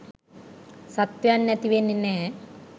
සත්වයන් නැති වෙන්නේ නෑ.